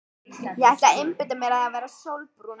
Ég ætla að einbeita mér að því að verða sólbrún.